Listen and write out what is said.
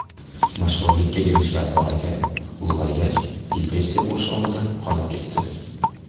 Mashhurlikka erishgan bolakay ulg‘aygach, depressiya qurshovida qolib ketdi.